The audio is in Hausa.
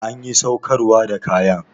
Anƴi saukarwa da kaƴan?